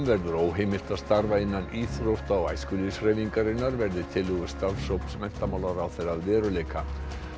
verður óheimilt að starfa innan íþrótta og æskulýðshreyfingarinnar verði tillögur starfshóps menntamálaráðherra að veruleika